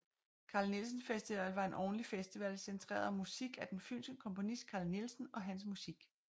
Carl Nielsen Festival var en årlig festival centreret om musik af den fynske komponist Carl Nielsen og hans musik